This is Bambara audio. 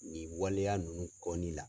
Nin waleya ninnu kɔni la.